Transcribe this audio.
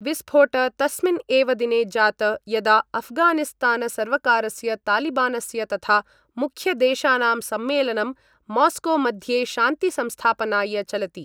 विस्फोट तस्मिन् एव दिने जात यदा अफगानिस्तानसर्वकारस्य तालिबानस्य तथा मुख्यदेशानां सम्मेलनं मॉस्कोमध्ये शान्तिसंस्थापनाय चलति।